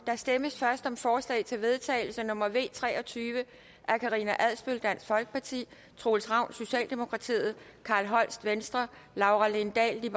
der stemmes først om forslag til vedtagelse nummer v tre og tyve af karina adsbøl troels ravn carl holst laura lindahl